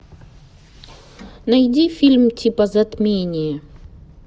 найди фильм типо затмения